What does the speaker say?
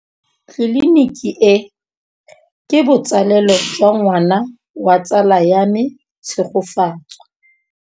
Tleliniki e, ke botsalêlô jwa ngwana wa tsala ya me Tshegofatso.